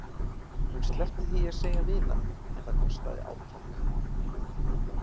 Hún sleppti því að segja vinan en það kostaði átak.